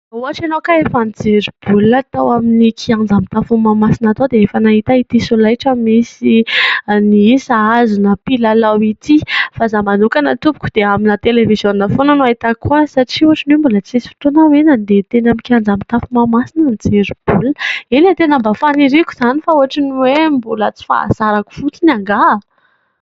Raha ohatra ianao ka efa nijery baolina tao amin'ny kianja mitafo Mahamasina tao dia efa nahita ity solaitra misy ny isa azona mpilalao ity. Fa izaho manokana tompoko dia amina televiziona foana no ahitako azy, satria ohatran'ny hoe mbola tsisy fotoana aho hoe nandeha teny amin'ny kianja mitafo Mahamasina nijery baolina. Eny e, tena mba faniriako izany fa ohatran'ny hoe mbola tsy fahazarako fotsiny angaha ?